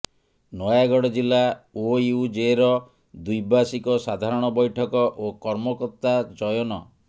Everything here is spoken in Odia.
ନୟାଗଡ ଜିଲ୍ଲା ଓୟୁଜେ ର ଦ୍ୱିବାର୍ଷିକ ସାଧାରଣ ବୈଠକ ଓ କର୍ମକର୍ତ୍ତା ଚୟନ